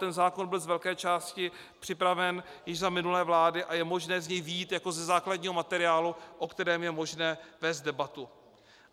Ten zákon byl z velké části připraven již za minulé vlády a je možné z něj vyjít jako ze základního materiálu, o kterém je možné vést debatu.